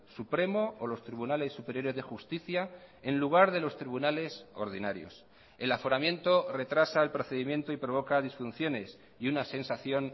supremo o los tribunales superiores de justicia en lugar de los tribunales ordinarios el aforamiento retrasa el procedimiento y provoca disfunciones y una sensación